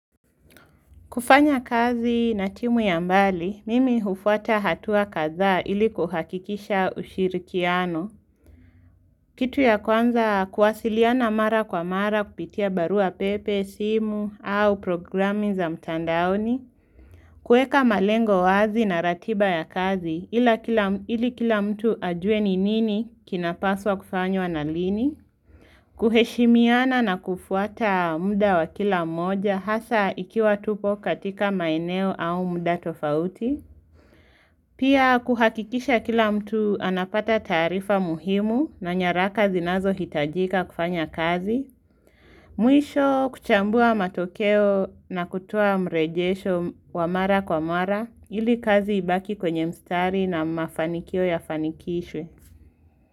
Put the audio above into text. Kufanya kazi na timu ya mbali, mimi hufuata hatua kadhaa ili kuhakikisha ushirikiano. Kitu ya kwanza kuwasiliana mara kwa mara kupitia barua pepe, simu, au programi za mtandaoni. Kueka malengo wazi na ratiba ya kazi ila ili kila mtu ajue ni nini kinapaswa kufanywa na lini. Kuheshimiana na kufuata muda wa kila mmoja hasa ikiwa tupo katika maeneo au muda tofauti Pia kuhakikisha kila mtu anapata taarifa muhimu na nyaraka zinazo hitajika kufanya kazi Mwisho kuchambua matokeo na kutoa mrejesho wa mara kwa mara ili kazi ibaki kwenye mstari na mafanikio yafanikishwe.